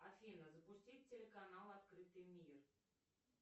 афина запустить телеканал открытый мир